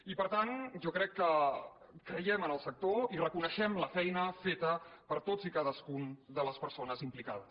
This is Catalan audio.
i per tant jo crec que creiem en el sector i reconeixem la feina feta per totes i cadascuna de les persones implicades